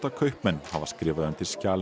kaupmenn hafa skrifað undir skjal